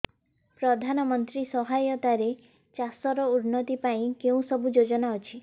ପ୍ରଧାନମନ୍ତ୍ରୀ ସହାୟତା ରେ ଚାଷ ର ଉନ୍ନତି ପାଇଁ କେଉଁ ସବୁ ଯୋଜନା ଅଛି